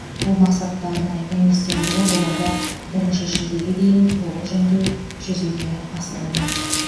бұл мақсатта арнайы комиссия құрылып оларды бірінші шілдеге дейін толық жөндеу жүзеге асырылмақ